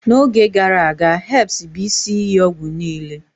n'oge gara aga, herbs bụ isi iyi ọgwụ niile